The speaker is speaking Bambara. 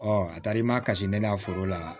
a taara i ma kasi ne ka foro la